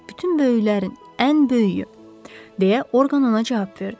Bütün böyüklərin ən böyüyü, deyə Orqan ona cavab verdi.